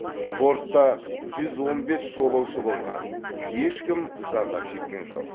бортта жүз он бес жолаушы болған ешкім зардап шеккен жоқ